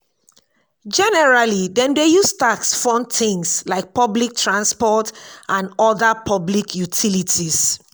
generally dem dey use tax fund things like public transport and oda public utilities